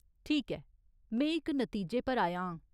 ठीक ऐ, में इक नतीजे पर आया आं।